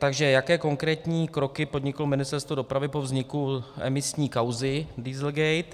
Takže jaké konkrétní kroky podniklo Ministerstvo dopravy po vzniku emisní kauzy Dieselgate?